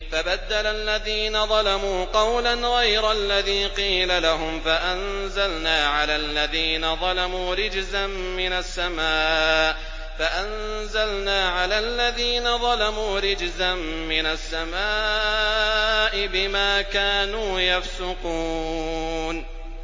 فَبَدَّلَ الَّذِينَ ظَلَمُوا قَوْلًا غَيْرَ الَّذِي قِيلَ لَهُمْ فَأَنزَلْنَا عَلَى الَّذِينَ ظَلَمُوا رِجْزًا مِّنَ السَّمَاءِ بِمَا كَانُوا يَفْسُقُونَ